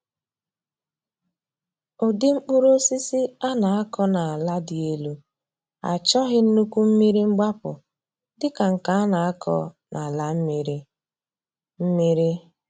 Ụdị mkpụrụ osisi a na-akọ n’ala dị elu achọghị nnukwu mmiri mgbapụ dị ka nke a na-akọ n’ala mmiri mmiri.